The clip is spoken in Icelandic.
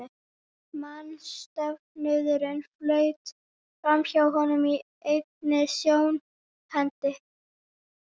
Mannsöfnuðurinn flaut framhjá honum í einni sjónhending.